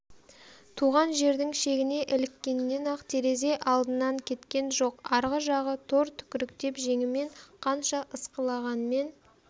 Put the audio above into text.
туған жердің шегіне іліккеннен-ақ терезе алдынан кеткен жоқ арғы жағы тор түкіріктеп жеңімен қанша ысқылағанмен